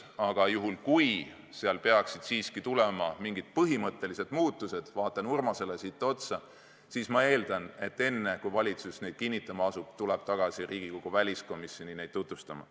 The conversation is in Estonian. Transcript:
Aga juhul kui seal peaksid siiski tulema mingid põhimõttelised muutused – ma vaatan Urmasele otsa –, siis eeldatavasti enne, kui valitsus neid kinnitama asub, tullakse tagasi Riigikogu väliskomisjoni neid tutvustama.